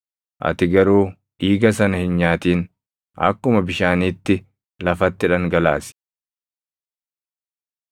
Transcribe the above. Ati garuu dhiiga sana hin nyaatin; akkuma bishaaniitti lafatti dhangalaasi.